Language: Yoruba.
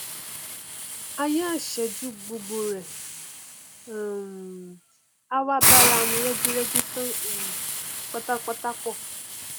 aaya ìṣẹjú gbogbo rẹ um a wá báramu rẹgírẹgí tán um pátápátá pọ̀